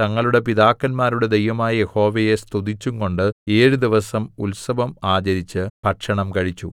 തങ്ങളുടെ പിതാക്കന്മാരുടെ ദൈവമായ യഹോവയെ സ്തുതിച്ചുംകൊണ്ട് ഏഴു ദിവസം ഉത്സവം ആചരിച്ച് ഭക്ഷണം കഴിച്ചു